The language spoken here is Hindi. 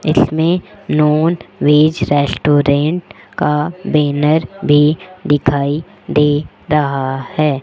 इसमें नॉन वेज रेस्टोरेंट का बैनर भी दिखाई दे रहा है।